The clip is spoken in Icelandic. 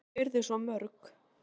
Ekki að þau yrðu svo mörg.